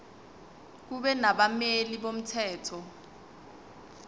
kube nabameli bomthetho